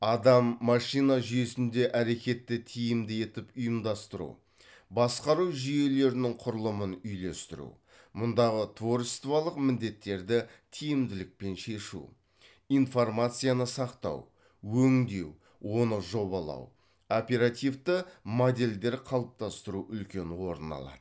адам машина жүйесінде әрекетті тиімді етіп ұйымдастыру басқару жүйелерінің құрылымын үйлестіру мұндағы творчестволық міндеттерді тиімділікпен шешу информацияны сақтау өңдеу оны жобалау оперативті модельдер қалыптастыру үлкен орын алады